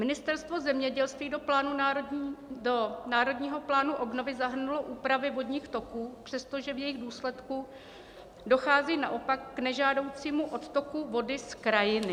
Ministerstvo zemědělství do Národního plánu obnovy zahrnulo úpravy vodních toků, přestože v jejich důsledku dochází naopak k nežádoucímu odtoku vody z krajiny.